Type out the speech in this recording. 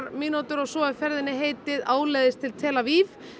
mínútur og svo er ferðinni heitið áleiðis til tel Aviv